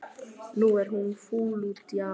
Nú er hún fúl út í afa.